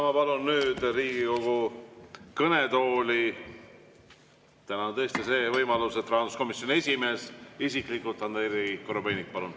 Ma palun nüüd Riigikogu kõnetooli – täna tõesti on see võimalus, et siia tuleb rahanduskomisjoni esimees isiklikult – Andrei Korobeiniku.